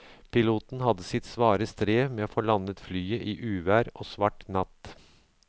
Piloten hadde sitt svare strev med å få landet flyet i uvær og svart natt.